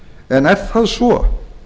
en er það svo